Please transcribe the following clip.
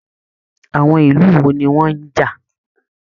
Àwọn ìlú wò ní wọn n já?